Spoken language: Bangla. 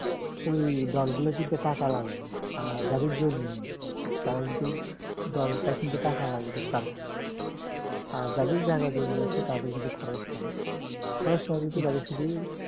ওই দলগুলো কিনতে টাকা লাগেনা আর যাদের জমি নেই তারা কিন্তু দলটা কিনতে টাকা লাগবে তাদের আর যাদের জায়গা জমি আছে কত খরচ কম খরচ না শুধু